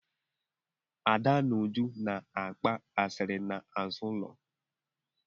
Ada na Uju na-agba asịrị n'azụ ụlọ.